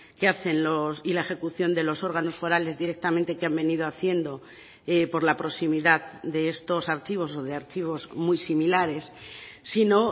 que hacen los y la ejecución de los órganos forales directamente que han venido haciendo por la proximidad de estos archivos o de archivos muy similares sino